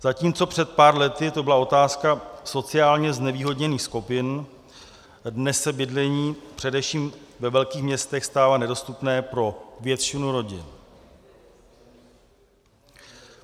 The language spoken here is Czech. Zatímco před pár lety to byla otázka sociálně znevýhodněných skupin, dnes se bydlení především ve velkých městech stává nedostupné pro většinu rodin.